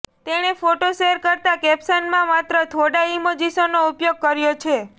તેણે photo share કરતા કેપ્શનમાં માત્ર થોડા ઇમોજીસનો ઉપયોગ કર્યો છે